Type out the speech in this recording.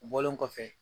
U bɔlen kɔfɛ